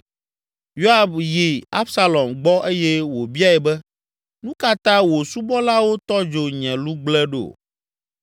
Yoab yi Absalom gbɔ eye wòbiae be, “Nu ka ta wò subɔlawo tɔ dzo nye lugble ɖo?”